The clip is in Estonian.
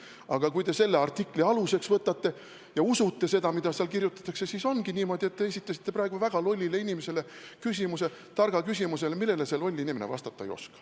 Aga kui te selle artikli aluseks võtate ja usute seda, mida seal kirjutatakse, siis ongi niimoodi, et te esitasite praegu väga lollile inimesele küsimuse, targa küsimuse, millele see loll inimene vastata ei oska.